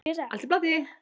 Allt í plati.